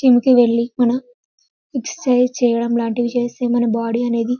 gym కి వెళ్లి మనం ఎక్సర్సిస్ లాంటివి చేస్తే మన బాడీ అనేది --